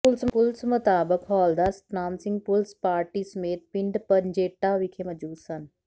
ਪੁਲਸ ਮੁਤਾਬਕ ਹੌਲਦਾਰ Satnam Singh police party ਸਮੇਤ ਪਿੰਡ ਪੰਜੇਟਾ ਵਿਖੇ ਮੌਜੂਦ ਸਨ